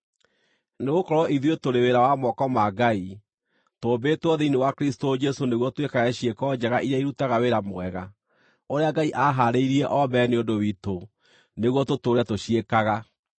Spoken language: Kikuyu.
Nĩgũkorwo ithuĩ tũrĩ wĩra wa moko ma Ngai, tũmbĩĩtwo thĩinĩ wa Kristũ Jesũ nĩguo twĩkage ciĩko njega iria irutaga wĩra mwega, ũrĩa Ngai aahaarĩirie o mbere nĩ ũndũ witũ nĩguo tũtũũre tũciĩkaga.